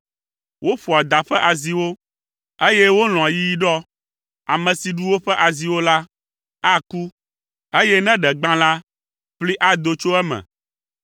Woƒoa da ƒe aziwo, eye wolɔ̃a yiyiɖɔ. Ame si ɖu woƒe aziwo la, aku, eye ne ɖe gbã la, ƒli ado tso eme.